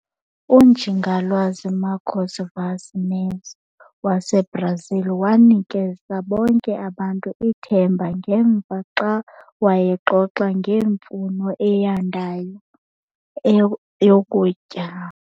UNjingalwazi Marcos Favas Neves waseBrazil wanikeza bonke abantu ithemba ngemva xa wayexoxa ngemfuno eyandayo eyokutya.